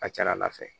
A ka ca ala fɛ